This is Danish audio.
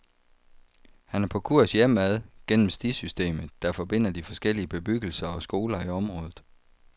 Han er på kurs hjemad gennem stisystemet, der forbinder de forskellige bebyggelser og skoler i området.